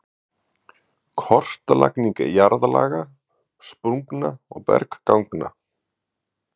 Kortlagning jarðlaga, sprungna og bergganga